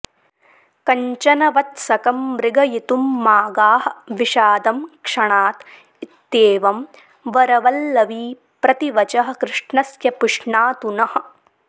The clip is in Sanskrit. कञ्चन वत्सकं मृगयितुं मा गाः विषादं क्षणात् इत्येवं वरवल्लवी प्रतिवचः कृष्णस्य पुष्णातु नः